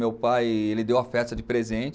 Meu pai, ele deu a festa de presente.